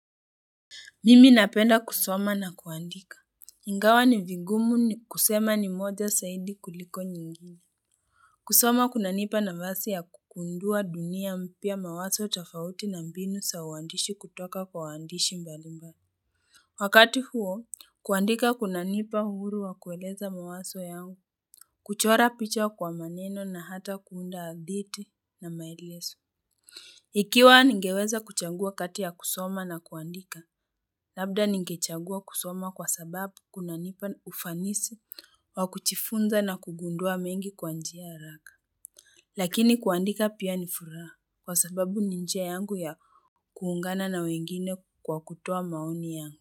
Mimi napenda kusoma na kuandika. Ingawa ni vigumu ni kusema ni moja saidi kuliko nyingine. Kusoma kuna nipa nafasi ya kukundua dunia mpya mawazo tofauti na mbinu saa uandishi kutoka kwa waandishi mbalmbali. Wakati huo, kuandika kuna nipa uhuru wa kueleza mawazo yao. Kuchora picha kwa maneno na hata kuunda hadithi na maelezo. Ikiwa ningeweza kuchangua kati ya kusoma na kuandika, labda ningechagua kusoma kwa sababu kuna nipa ufanisi wa kujifunza na kugundua mengi kwa njia ya haraka. Lakini kuandika pia nifuraha kwa sababu ninjia yangu ya kuungana na wengine kwa kutoa maoni yangu.